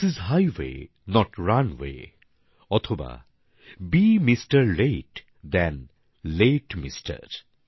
this is highway not runway অথবা be mister late than late mister